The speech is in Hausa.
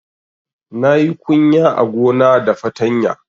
Na yi kunya a gona da fatanya